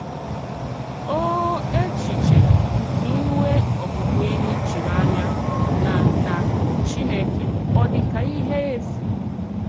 Ò èchìchè nke ínwè òbụ̀bụ̀énỳì chírì ànyà nà nà Chínèkè ọ̀ dị̀ kà íhè èfù?